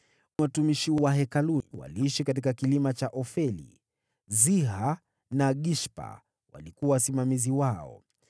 Watumishi wa Hekalu waliishi katika kilima cha Ofeli. Siha na Gishpa walikuwa wasimamizi wao.